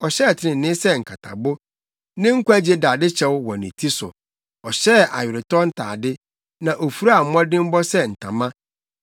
Ɔhyɛɛ trenee sɛ nkatabo, ne nkwagye dadekyɛw wɔ ne ti so. Ɔhyɛɛ aweretɔ ntade na ofuraa mmɔdemmɔ sɛ ntama.